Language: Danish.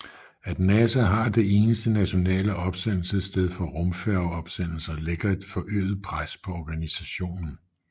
At NASA har det eneste nationale opsendelsessted for rumfærge opsendelser lægger et forøget pres på organisationen